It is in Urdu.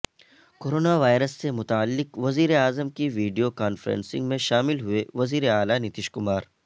کورونا وائرس سے متعلق وزیر اعظم کی ویڈیو کانفرنسنگ میں شامل ہوئے وزیراعلی نتیش کمار